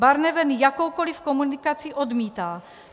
Barnevern jakoukoli komunikaci odmítá.